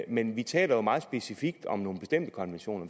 men vi taler jo meget specifikt om nogle bestemte konventioner